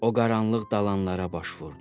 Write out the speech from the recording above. O qaranlıq dalanlara baş vurdu.